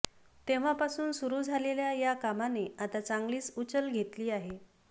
तेव्हापासून सुरू झालेल्या या कामाने आता चांगलीच उचल घेतली आहे